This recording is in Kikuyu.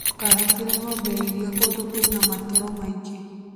Ndũkahingĩre ng'ombe ya iria kũndũ kwĩna matoro maingĩ